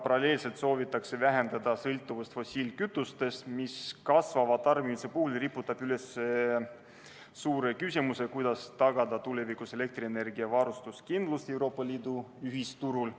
Paralleelselt soovitakse vähendada sõltuvust fossiilkütustest, mis kasvava tarbimise puhul riputab üles suure küsimuse, kuidas tagada tulevikus elektrienergiaga varustamise kindlus Euroopa Liidu ühisturul.